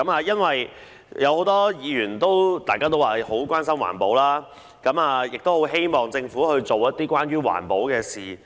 有很多議員都關心環保，樂見政府做一些推動環保的事。